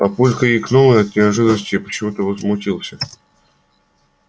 папулька икнул от неожиданности и почему-то возмутился